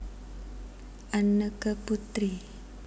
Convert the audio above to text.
Anneke Putri